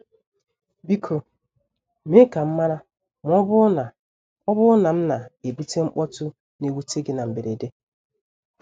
Biko mee ka m mara ma ọ bụrụ na ọ bụrụ na m na-ebute mkpọtụ na-ewute gị na mberede.